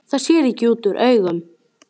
Það sér ekki útúr augum.